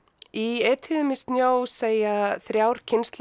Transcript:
í Etýðum í snjó segja þrjár kynslóðir